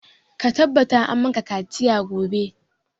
Ka tabbata an maka kaciya gobe!